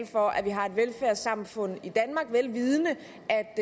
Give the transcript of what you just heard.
for at vi har et velfærdssamfund i danmark vel vidende